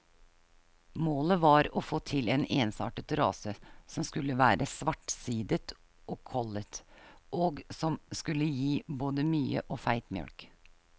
Målet var å få til en ensartet rase som skulle være svartsidet og kollet, og som skulle gi både mye og feit mjølk.